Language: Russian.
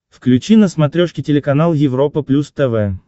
включи на смотрешке телеканал европа плюс тв